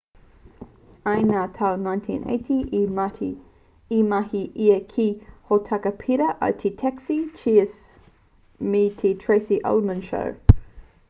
i ngā tau 1980 i mahi ia ki ngā hōtaka pērā i te taxi cheers me te tracy ullman show